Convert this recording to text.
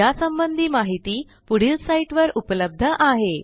यासंबंधी माहिती पुढील साईटवर उपलब्ध आहे